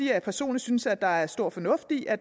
jeg personligt synes at der er stor fornuft i at